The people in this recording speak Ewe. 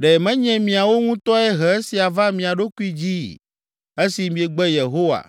Ɖe menye miawo ŋutɔe he esia va mia ɖokui dzii esi miegbe Yehowa,